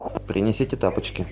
принесите тапочки